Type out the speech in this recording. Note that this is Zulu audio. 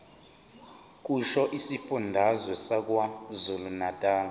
kusho isifundazwe sakwazulunatali